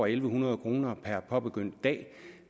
en hundrede kroner per påbegyndt dag